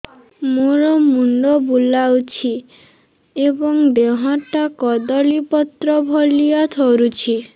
ମୋର ମୁଣ୍ଡ ବୁଲାଉଛି ଏବଂ ଦେହଟା କଦଳୀପତ୍ର ଭଳିଆ ଥରୁଛି